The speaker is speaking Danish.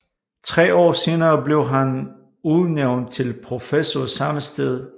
Tre år senere blev han udnævnt til professor samme sted